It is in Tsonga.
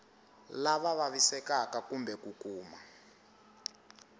lava vavisekaka kumbe ku kuma